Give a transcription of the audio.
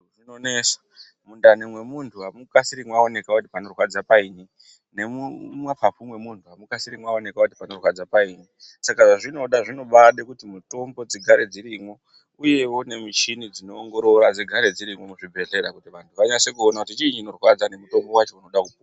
Zvinonesa, mundani mwemuntu amukasiri mwaoneka kuti panorwadza paini, nemumapapu mwemuntu amukasiri mwaoneka kuti panorwadza paini. Saka zvezvinoda zvinobade kuti mutombo dzigare dzirimwo uyewo nemichini dzinoongorora ngadzigare dzirimo muchibhedhlera kuti vantu vanyase kuona kuti chiinyi chinorwadza nemutombo wacho unoda kupuwa.